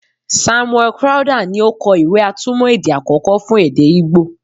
Samuel Crowther ni o kọ ìwé-atúmọ̀ èdè àkọ́kọ́ fún èdè Igbo.